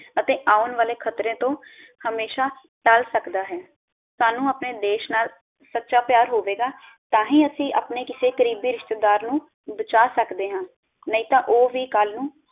ਅਤੇ ਆਉਣ ਵਾਲੇ ਖ਼ਤਰੇ ਤੋਂ ਹਮੇਸ਼ਾ ਟੱਲ ਸਕਦਾ ਹੈ ਸਾਨੂ ਆਪਣੇ ਦੇਸ਼ ਨਾਲ ਸੱਚਾ ਪਿਆਰ ਹੋਵੇਗਾ ਤਾਂ ਹੀ ਅਸੀਂ ਆਪਣੇ ਕਿਸੇ ਕਰੀਬੀ ਰਿਸ਼ਤੇਦਾਰ ਨੂੰ ਬਚਾ ਸਕਦੇ ਹਾਂ ਨਹੀਂ ਤਾਂ ਉਹ ਵੀ ਕਲ ਨੂੰ।